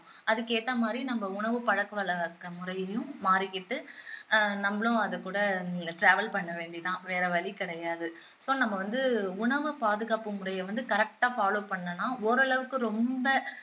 அதுக்கேத்த மாதிரி நம்ம உணவுப் பழக்கவழக்க முறையிலையும் மாறிக்கிட்டு ஆஹ் நம்மளும் அதுக்கூட travel பண்ணவேண்டியதுதான் வேற வழி கிடையாது so நம்ம வந்து உணவுப் பாதுகாப்பு முறையை வந்து correct ஆ follow பண்ணினோம்னா ஓரளவுக்கு ரொம்ப